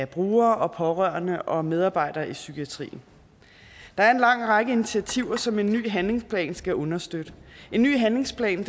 brugere og pårørende og medarbejdere i psykiatrien der er en lang række initiativer som en ny handlingsplan skal understøtte en ny handlingsplan